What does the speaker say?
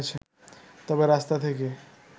তবে রাস্তা থেকে